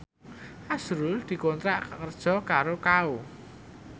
azrul dikontrak kerja karo Kao